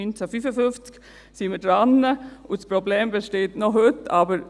seit 1955 sind wir daran, und das Problem besteht heute noch.